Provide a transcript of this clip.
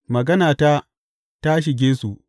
Maganata ta shige su.